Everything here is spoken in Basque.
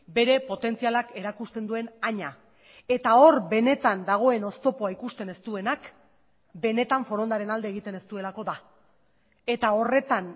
bere potentzialak erakusten duen haina eta hor benetan dagoen oztopoa ikusten ez duenak benetan forondaren alde egiten ez duelako da eta horretan